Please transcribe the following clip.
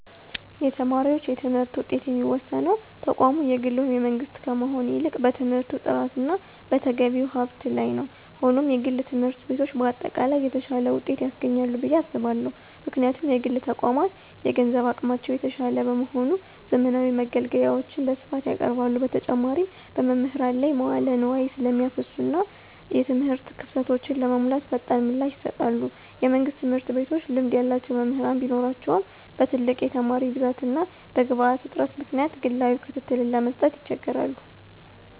የተማሪዎች የትምህርት ውጤት የሚወሰነው ተቋሙ የግል ወይም የመንግሥት ከመሆን ይልቅ በትምህርቱ ጥራትና በተገቢው ሀብት ላይ ነው። ሆኖም፣ የግል ትምህርት ቤቶች በአጠቃላይ የተሻለ ውጤት ያስገኛሉ ብዬ አስባለሁ። ምክንያቱም: የግል ተቋማት የገንዘብ አቅማቸው የተሻለ በመሆኑ፣ ዘመናዊ መገልገያዎችን በስፋት ያቀርባሉ። በተጨማሪም፣ በመምህራን ላይ መዋለ ንዋይ ስለሚያፈሱና እና የትምህርት ክፍተቶችን ለመሙላት ፈጣን ምላሽ ይሰጣሉ። የመንግሥት ትምህርት ቤቶች ልምድ ያላቸው መምህራን ቢኖራቸውም፣ በትልቅ የተማሪ ብዛትና በግብዓት እጥረት ምክንያት ግላዊ ክትትልን ለመስጠት ይቸገራሉ።